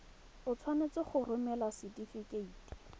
o tshwanetse go romela setefikeiti